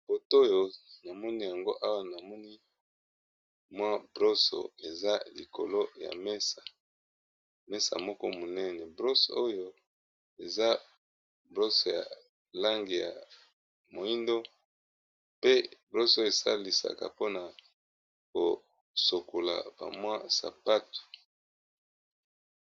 Photo Oyo namoni yango Awa ñamoni MWA broso Ezra likolo ya mesa mesa Moko muñene broso Oyo esalisaka poo yakosilika ba MWA sapatu